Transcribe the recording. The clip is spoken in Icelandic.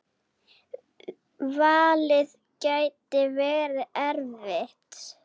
Valið gæti verið erfitt.